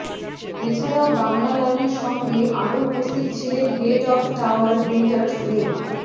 এ ছাড়াও বাংলালায়নের সঙ্গে আরও উপস্থিত ছিলেন হেড অব টাওয়ার বিল্ডারস লে